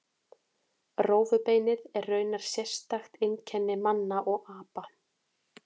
Rófubeinið er raunar sérstakt einkenni manna og apa.